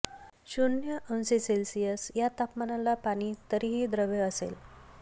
शून्य अंश से या तापमानाला पाणी तरीही द्रव असेल